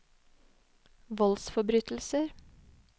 voldsforbrytelser